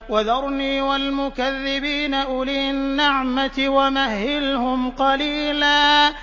وَذَرْنِي وَالْمُكَذِّبِينَ أُولِي النَّعْمَةِ وَمَهِّلْهُمْ قَلِيلًا